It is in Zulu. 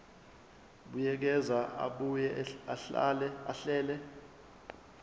buyekeza abuye ahlele